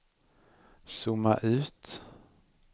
zooma ut